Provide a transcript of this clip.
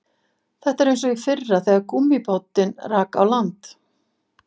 Þetta er eins og í fyrra þegar gúmmíbátinn rak á land